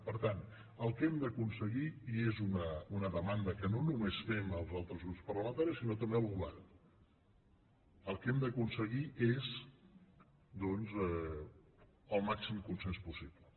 per tant el que hem d’aconseguir i és una demanda que no només fem als altres grups parlamentaris sinó també al govern és doncs el màxim consens possible